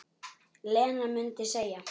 Lena mundi segja.